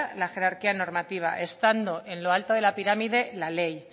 la jerarquía normativa estando en lo alto de la pirámide la ley